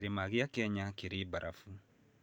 Kĩrĩma kĩa Kenya kĩrĩ na barabu.